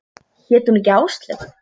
Hét hún ekki Áslaug?